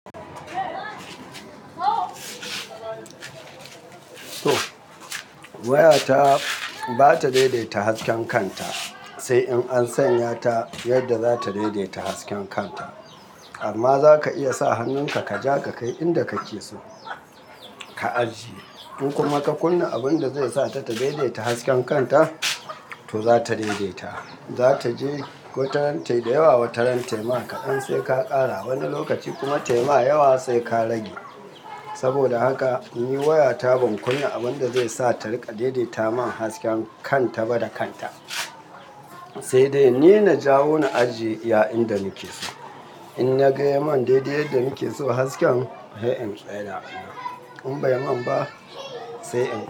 To, waya ta ba ta daidaita hasken kanta sai in an sanya ta yadda za ta daidaita hasken kanta. Amma za ka iya sa hannunka kaja ka kai inda kake so ka ajiye. In kuma ka kunna abin da zai sa ta ta daidaita hasken kanta, to za ta daidaita. Za ta je wataran tai dayawa wataran tayi ma kaɗan sai ka ƙara. Wani lokaci kuma taima yawa sai ka rage. Saboda haka ni waya ta ban kunna abin da zai sa ta riƙa daidaita min hasken kan ta ba da kanta, sai dai ni na jawo na ajiye iya inda nake so. In na ga ya mun daidai yadda nake so hasken, sai in tsaida a nan. In bai mun ba sai in-